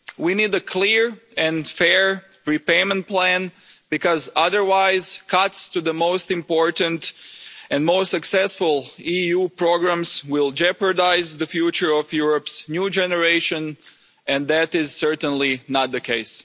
We need a clear and fair repayment plan, because otherwise cuts to the most important and most successful EU programmes will jeopardise the future of Europe's new generation, and that is certainly not the case.